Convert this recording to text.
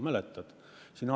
Mäletad?